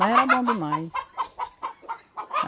Mas era bom demais.